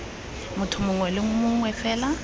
motho mongwe le mongwe fela